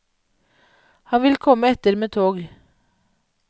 Han vil komme etter med tog.